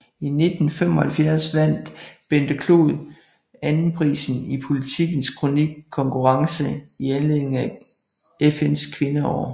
I 1975 vandt Bente Clod anden prisen i Politikens kronikkonkurrence i anledning af FNs Kvindeår